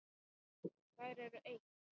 Þær eru eitt.